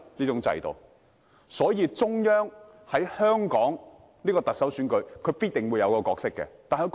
因此，中央在香港的特首選舉中必定擔當一個角色。